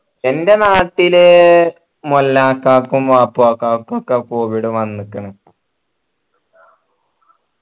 ൻ്റെ നാട്ടില് മൊല്ലാക്കാകും വാപ്പാക്കാക്കും ഒക്കെ covid വന്നിക്കണ്